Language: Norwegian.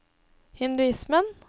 hinduismen